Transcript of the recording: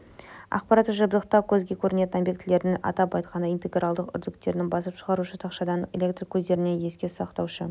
аппараттық жабдықтау көзге көрінетін объектілерден атап айтқанда интегралдық үрділерден басып шығарушы тақшадан электр көздерінен еске сақтаушы